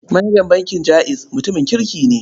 Manajan bankin Jaiz mutumin kirki ne.